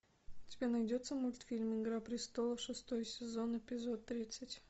у тебя найдется мультфильм игра престолов шестой сезон эпизод тридцать